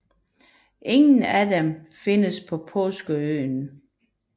Ingen af dem findes på Påskeøen